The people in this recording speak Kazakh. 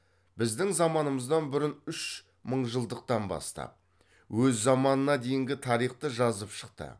біздің заманымыздан бұрын үш мыңжылдықтан бастап өз заманына дейінгі тарихты жазып шықты